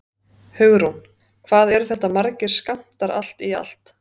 Hugrún: Hvað eru þetta margir skammtar allt í allt?